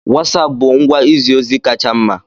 Wosapu bụ ngwa izi ozi kacha mma.